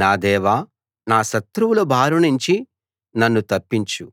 నా దేవా నా శత్రువుల బారినుంచి నన్ను తప్పించు